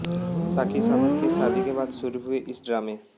राखी सावंत की शादी के बाद शुरू हुए इस ड्रामे